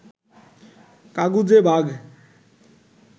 কাগুজে বাঘ